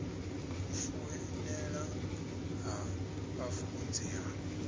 u foinela ha vhafunzi ha